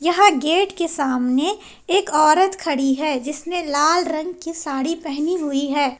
यहां गेट के सामने एक औरत खड़ी है जिसने लाल रंग की साड़ी पहनी हुई है।